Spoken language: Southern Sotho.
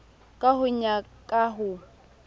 ka ho ya ka ho